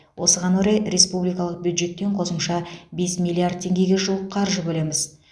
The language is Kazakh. осыған орай республикалық бюджеттен қосымша бес миллиард теңгеге жуық қаржы бөлеміз